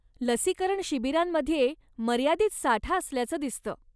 लसीकरण शिबिरांमध्ये मर्यादित साठा असल्याचं दिसतं.